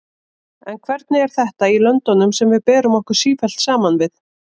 En hvernig er þetta í löndunum sem við berum okkur sífellt saman við?